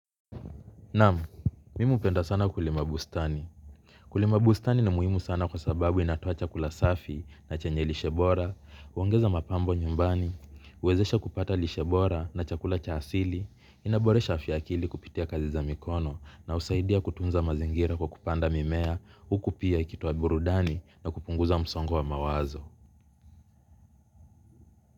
Naam, mimi hupenda sana kulima bustani. Kulima bustani ni muhimu sana kwa sababu inatoa chakula safi na chenye lishe bora, huongeza mapambo nyumbani, huwezesha kupata lishebora na chakula cha asili, inaboresha afya ya akili kupitia kazi za mikono na husaidia kutunza mazingira kwa kupanda mimea, huku pia ikitoa burudani na kupunguza msongo wa mawazo.